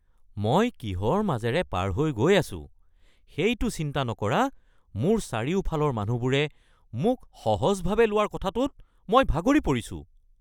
মই কিহৰ মাজেৰে পাৰ হৈ গৈ আছো সেইটো চিন্তা নকৰা মোৰ চাৰিওফালৰ মানুহবোৰে মোক সহজভাৱে লোৱাৰ কথাটোত মই ভাগৰি পৰিছো।